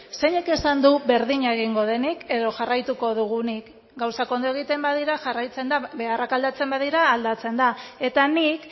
zeinek esan du berdina egingo denik edo jarraituko dugunik gauzak ondo egiten badira jarraitzen da beharrak aldatzen badira aldatzen da eta nik